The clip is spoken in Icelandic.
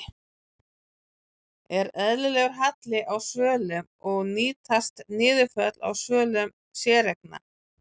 Er eðlilegur halli á svölum og nýtast niðurföll á svölum séreigna?